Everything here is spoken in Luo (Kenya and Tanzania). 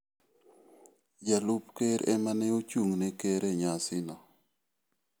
Jalup ker ema ne ochung'ne ker e nyasino.